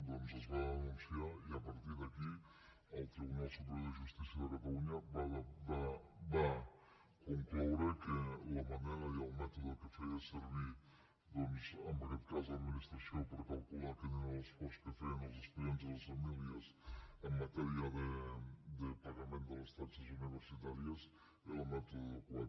doncs es va denunciar i a partir d’aquí el tribunal superior de justícia de catalunya va concloure que la manera i el mètode que feien servir en aquest cas l’administració per a calcular quin era l’esforç que feien els estudiants i les famílies en matèria de pagament de les taxes universitàries era el mètode adequat